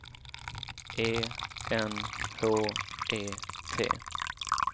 E N H E T